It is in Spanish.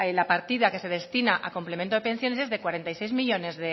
la partida que se destina a complemento de pensión es de cuarenta y tres millónes